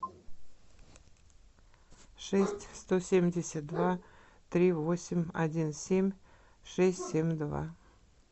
шесть сто семьдесят два три восемь один семь шесть семь два